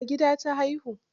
A gida ta haihu?